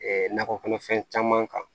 nakɔ kɔnɔfɛn caman kan